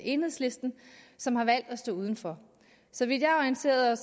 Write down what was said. enhedslisten som har valgt at stå uden for så vidt jeg er orienteret